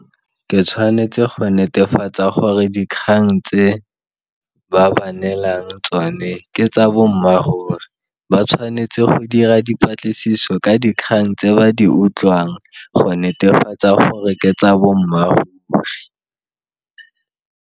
Ke tshwanetse go netefatsa gore dikgang tse ba ba neelang tsone ke tsa bommaaruri ba tshwanetse go dira dipatlisiso ka dikgang tse ba di utlwang go netefatsa go re ke tsa bommaaruri.